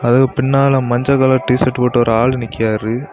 அதுக்கு பின்னால மஞ்ச கலர் டீ ஷர்ட் போட்டு ஒரு ஆளு நிக்கிறாரு.